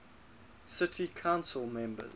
city council members